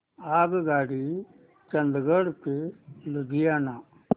आगगाडी चंदिगड ते लुधियाना